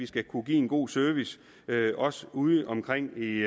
skal kunne give en god service også udeomkring i